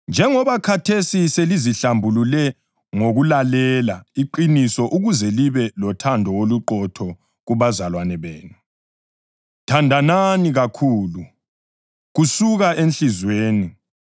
Njengoba khathesi selizihlambulule ngokulalela iqiniso ukuze libe lothando oluqotho kubazalwane benu, thandanani kakhulu, kusuka enhliziyweni.